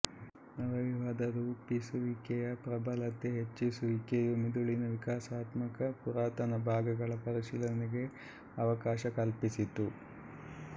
ನರವ್ಯೂಹದರೂಪಿಸುವಿಕೆಯ ಪ್ರಬಲತೆ ಹೆಚ್ಚಾಗುವಿಕೆಯೂ ಮಿದುಳಿನ ವಿಕಾಸಾತ್ಮಕ ಪುರಾತನ ಭಾಗಗಳ ಪರಿಶೀಲನೆಗೆ ಅವಕಾಶ ಕಲ್ಪಿಸಿತು